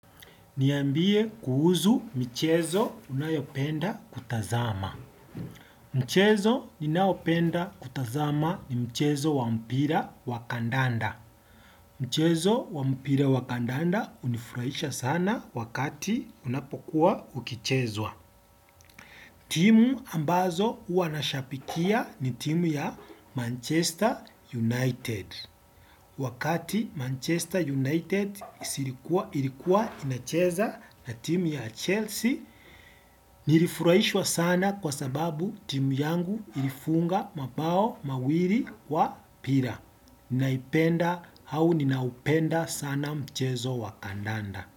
Niambie kuhuzu michezo unayopenda kutazama. Mchezo ninaopenda kutazama ni mchezo wa mpira wa kandanda. Mchezo wa mpira wa kandanda hunifurahisha sana wakati unapokuwa ukichezwa. Timu ambazo huwa nashapikia ni timu ya Manchester United. Wakati Manchester United ilikuwa inacheza na timu ya Chelsea, nilifurahishwa sana kwa sababu timu yangu ilifunga mabao mawili wa bila. Naipenda au ninaupenda sana mchezo wa kandanda.